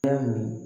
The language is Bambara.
Ya min